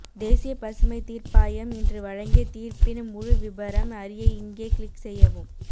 தேசிய பசுமை தீர்ப்பாயம் இன்று வழங்கிய தீர்ப்பின் முழு விபரம் அறிய இங்கே க்ளிக் செய்யவும்